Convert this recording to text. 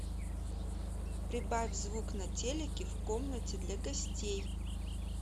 прибавь звук на телике в комнате для гостей